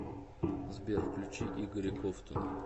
сбер включи игоря ковтуна